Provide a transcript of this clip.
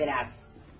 Gözlə biraz.